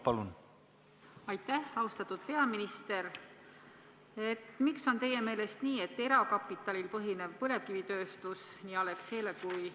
Heljo Pikhof, palun!